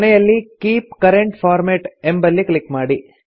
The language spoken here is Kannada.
ಕೊನೆಯಲ್ಲಿ ಕೀಪ್ ಕರೆಂಟ್ ಫಾರ್ಮ್ಯಾಟ್ ಎಂಬಲ್ಲಿ ಕ್ಲಿಕ್ ಮಾಡಿ